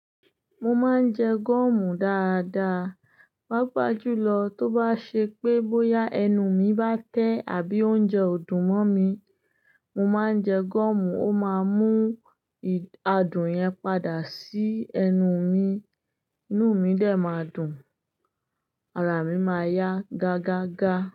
Mo máa ń jẹ gúọ̀mù dáadáa. Pápá jùlọ tó bá ṣe pé bóyá ẹnu mi bá tẹ́ àbí oúnjẹ ò dùn mọ́ mi, mo máa ń jẹ gúọ̀mù, ó máa mú adùn yẹn padà sí ẹnu mi, inú mi dè máa dùn, ara mi máa yá gágágá.